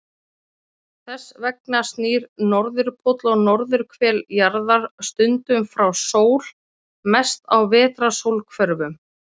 Þess vegna snýr norðurpóll og norðurhvel jarðar stundum frá sól, mest á vetrarsólhvörfum.